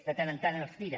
de tant en tant els tira